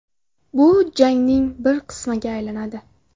Bu jangning bir qismiga aylanadi.